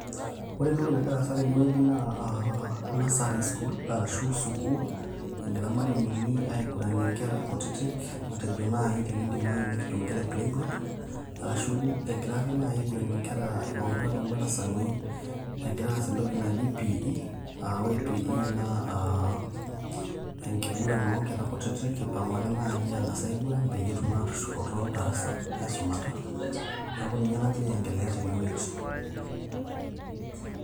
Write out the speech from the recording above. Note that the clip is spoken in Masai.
ore entoki nagira aasa tenewueji naa aa nursery school arashu sukuul, engira imalimuni aiguranie inkera kutitik matejo naaji tenindim aeu nikitum inkera e playgroup arashu egira ake naaji aiguranie ipang'utua toondarasani egira aas entoki naji PE aa ore PE naa enkiguran oonkera kutitik ipang'u ake naaji aang'as aiguran peyie etum aatushukoto darasa aisumata neeku ninye nagira ae endelea tenewueji.